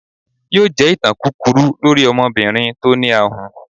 yóò jẹ ìtàn kúkúrú lorí ọmọbirin tí o ní àhùn.